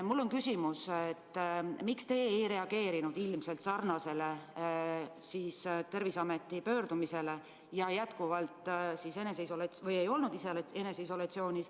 Mul on küsimus: miks te ei reageerinud ilmselt samasugusele Terviseameti pöördumisele ega olnud eneseisolatsioonis?